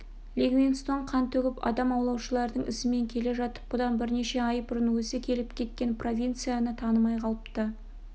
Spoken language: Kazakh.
ливингстон қан төгіп адам аулаушылардың ізімен келе жатып бұдан бірнеше ай бұрын өзі келіп кеткен провинцияны танымай қалыпты